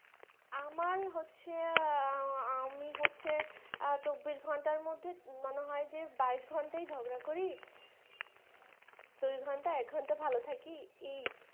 আমার হচ্ছে আমি হচ্ছে চব্বিশ ঘন্টার মধ্যে মানে হয় যে বাইশ ঘন্টায় ঝগড়া করি দুই ঘন্টা এক ঘন্টা ভালো থাকি। এই